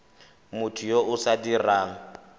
motho yo o sa dirang